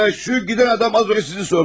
Ə, şu gedən adam az öncə sizi sordu.